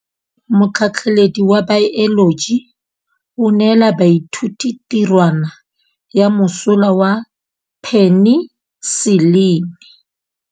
Motlhatlhaledi wa baeloji o neela baithuti tirwana ya mosola wa peniselene.